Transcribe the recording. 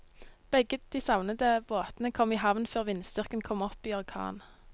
Begge de savnede båtene kom i havn før vindstyrken kom opp i orkan.